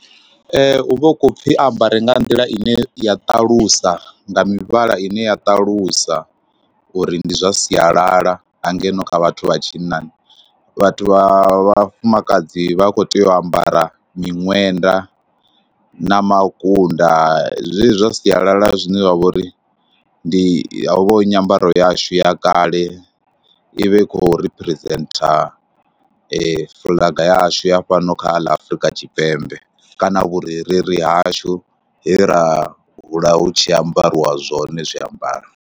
Hu vha hu khou pfhi a ambare nga nḓila ine ya ṱalusa nga mivhala ine ya ṱalusa uri ndi zwa sialala ha ngeno kha vhathu vha tshinnani. Vhathu vha vhafumakadzi vha khou tea u ambara miṅwenda na makunda zwezwi zwa sialala zwine zwa vha uri ndi, ho vha hu nyambaro yashu ya kale, i vhe i khou riphirizentha fuḽaga yashu ya fhano kha ḽa Afurika Tshipembe kana vhurereli hashu he ra hula hu tshi ambariwa zwone zwiambaro.